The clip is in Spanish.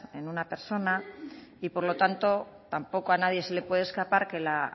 en una persona y por lo tanto tampoco a nadie se le puede escapar que la